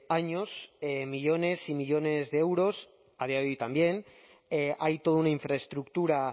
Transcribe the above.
años millónes y millónes de euros a día de hoy también hay toda una infraestructura